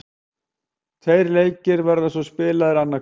Tveir leikir verða svo spilaðir annað kvöld.